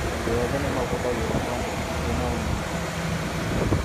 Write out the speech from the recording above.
Andũ ethĩ nĩ mahũthagĩrwo tondũ matirĩ na umenyo.